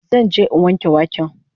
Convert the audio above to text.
Zan je in wanke waken